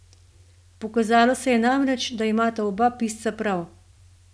Pokazalo se je namreč, da imata oba pisca prav.